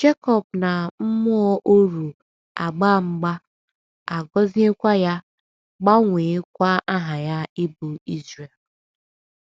Jekọb na mmụọ oru agbaa mgba, a gọziekwa ya, gbanweekwa aha ya ịbụ Izrel.